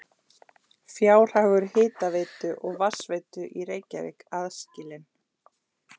Fjárhagur hitaveitu og vatnsveitu í Reykjavík aðskilinn.